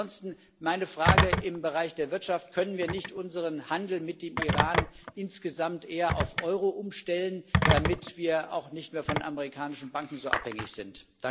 Ansonsten meine Frage im Bereich der Wirtschaft Können wir nicht unseren Handel mit dem Iran insgesamt eher auf Euro umstellen, damit wir auch von amerikanischen Banken nicht mehr so abhängig sind?